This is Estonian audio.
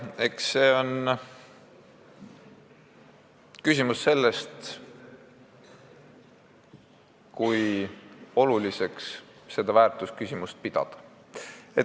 Eks see on küsimus sellest, kui oluliseks seda väärtusküsimust pidada.